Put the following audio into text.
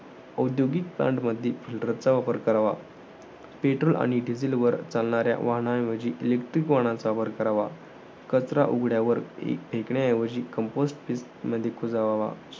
औद्योगील plant मधी गटारचा वापर करावा. petrol आणि diesel वर चालणाऱ्या वाहनांऐवजी electric वाहनांचा वापर करावा. कचरा उघड्यावरती फेकण्याऐवजी compost pit मधी कुजवावा.